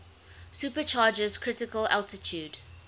supercharger's critical altitude